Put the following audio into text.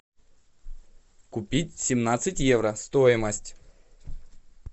купить семнадцать евро стоимость